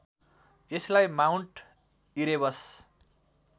यसलाई Mount Erebus